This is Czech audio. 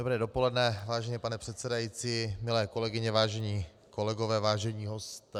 Dobré dopoledne, vážený pane předsedající, milé kolegyně, vážení kolegové, vážení hosté.